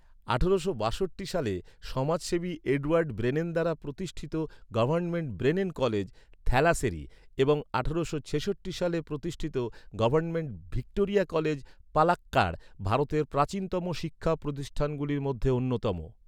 আঠারোশো বাষট্টি সালে সমাজসেবী এডওয়ার্ড ব্রেনেন দ্বারা প্রতিষ্ঠিত গভর্নমেন্ট ব্রেনেন কলেজ, থ্যালাসেরি, এবং আঠারোশো ছেষট্টি সালে প্রতিষ্ঠিত গভর্নমেন্ট ভিক্টোরিয়া কলেজ, পালাক্কাড়, ভারতের প্রাচীনতম শিক্ষা প্রতিষ্ঠানগুলির মধ্যে অন্যতম।